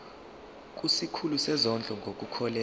kusikhulu sezondlo ngokukhokhela